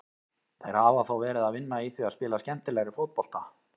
Þeir hafa þó verið að vinna í því að spila skemmtilegri fótbolta.